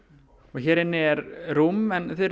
hér inni er rúm en þið